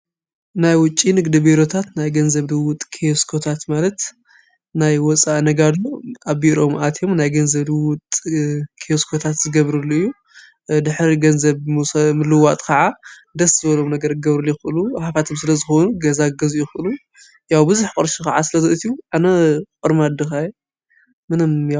ናይ ውጭ ንግዲ ቢሮታት ናይ ገንዘብ ልውጥ ክየስኮታት ማለት ናይ ወፃእ ነጋድ ኣብ ቢሮኦም ኣትዮም ናይ ገንዘብ ልዉውጥ ክዮስኮታት ዝገብሩሉ እዩ። ድሕሪ ገንዘብ ምልውዋጥ ካዓ ደስ ዝበሎም ነገር ክገብሩሉ ይክእሉ ሃፋትም ስለዝኾኑ ገዛ ክገዝኡ ይክእሉ ያው ብዙ ቅርሺ ከዓ ስለ ዝእትዩ ኣነ ቆርማድ ድኻ እየ ምን ያው።